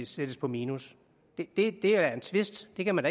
sættes på minus det er en tvist det kan man